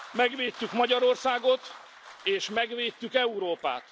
Megvédtük Magyarországot, és megvédtük Európát.